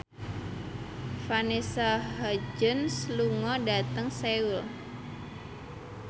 Vanessa Hudgens lunga dhateng Seoul